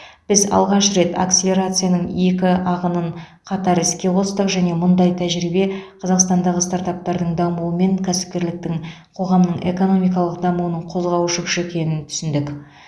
біз алғаш рет акселерацияның екі ағынын қатар іске қостық және мұндай тәжірибе қазақстандағы стартаптардың дамуы мен кәсіпкерліктің қоғамның экономикалық дамуының қозғаушы күші екенін түсіндік